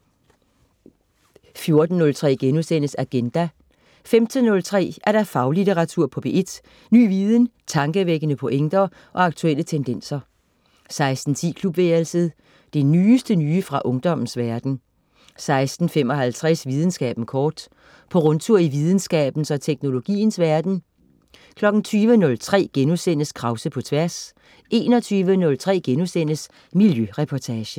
14.03 Agenda* 15.03 Faglitteratur på P1. Ny viden, tankevækkende pointer og aktuelle tendenser 16.10 Klubværelset. Det nyeste nye fra ungdommens verden 16.55 Videnskaben kort. På rundtur i videnskabens og teknologiens verden 20.03 Krause på Tværs* 21.03 Miljøreportagen*